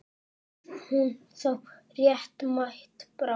Varð hún þá réttmæt bráð?